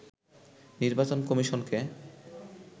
নির্বাচন কমিশনকে